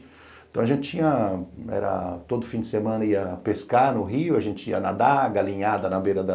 Então, a gente tinha... era... todo fim de semana ia pescar no rio, a gente ia nadar, galinhada na beira da...